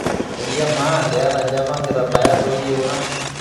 olly amaa keeta java inkitabayat oo iyieunat